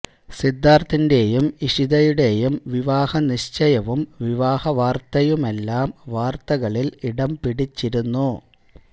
സിദ്ധാര്ഥിന്റേയും ഇഷിതയുടേയും വിവാഹ നിശ്ചയവും വിവാഹ വാര്ത്തയുമെല്ലാം വര്ത്തകളില് ഇടം പിടിച്ചിരുന്നു